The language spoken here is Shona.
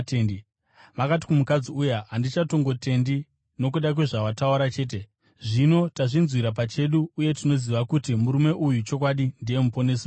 Vakati kumukadzi uya, “Hatichatongotendi nokuda kwezvawataura chete; zvino tazvinzwira pachedu, uye tinoziva kuti murume uyu chokwadi ndiye Muponesi wenyika.”